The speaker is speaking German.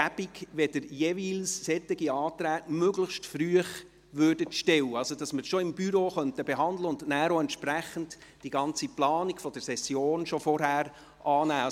Es wäre jeweils praktisch, wenn Sie solche Anträge möglichst früh stellen würden, sodass wir sie bereits im Büro behandeln und die ganze Planung der Session vorgängig vornehmen können.